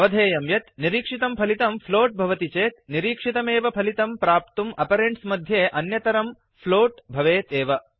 अवधेयं यत् निरीक्षितं पलितं फ्लोट फ्लोट् भवति चेत् निरीक्षितमेव फलितं प्राप्तुम् आपरेण्ड्स् मध्ये अन्यतरं फ्लोट फ्लोट् भवेत् एव